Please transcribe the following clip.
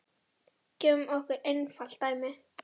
Gefum okkur einfalt dæmi.